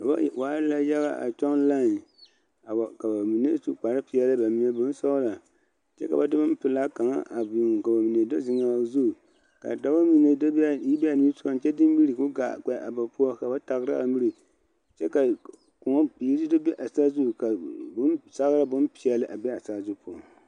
Noba waa la yaga a kyɔŋ laen a wa ka ba mine su kparepeɛle ba mine su bonsɔglɔ kyɛ ka ba de bonpelaa kaŋa a biŋ ka ba mine do zeŋaa zu ka dɔba mine do be a yi be a niŋe sogaŋ kyɛ de miri k,o gaa kpɛ a ba poɔ ka ba tagra a miri kyɛ ka koɔ biiri do be a saazu ka bonzagra bonpeɛle a be a saazu poɔŋ.